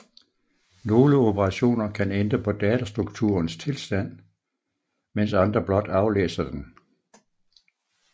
Nogle operationer kan ændre på datastrukturens tilstand mens andre blot aflæser den